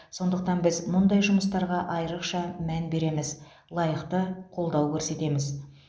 сондықтан біз мұндай жұмыстарға айрықша мән береміз лайықты қолдау көрсетеміз